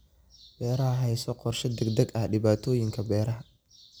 Beeraha Hayso qorshe degdeg ah dhibaatooyinka beeraha.